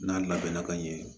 N'a labɛnna ka ɲɛ